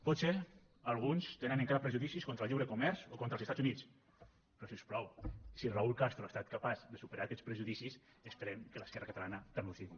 potser alguns tenen encara prejudicis contra el lliure comerç o contra els estats units però si us plau si raúl castro ha estat capaç de superar aquests prejudicis esperem que l’esquerra catalana també ho sigui